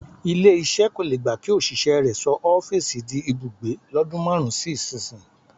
Ilé-iṣẹ́ kò le gba kí òṣìṣẹ́ rẹ sọ ọ́fíìsì di ibùgbé lọ́dún márùn-ún sí ìsinyìí.